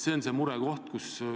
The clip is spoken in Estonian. See on see murekoht.